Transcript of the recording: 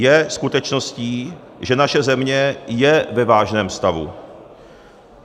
Je skutečností, že naše země je ve vážném stavu.